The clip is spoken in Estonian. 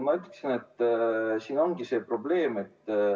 Ma ütleksin, et siin ongi probleem.